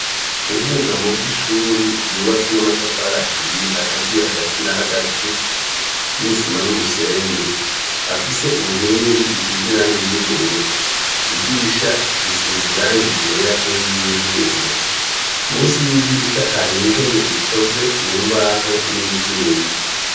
Ubwugamo bw'ishuri ryubatse n'amatafari ahiye agaziye hagati na hagati n'isima n'umusenyi; afise inkingi isize irangi ry'ubururu; idirisha risize irangi ryera n'iry'ivyuma. Munsi y'idirisha hari intebe ikoze mu mbaho n'ivyuma.